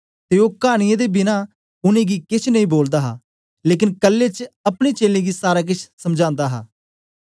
ते ओ कानीयां दे बिना उनेंगी केछ नेई बोलदा हा लेकन कल्ले च अपने चेलें गी सारा केछ समझादा हा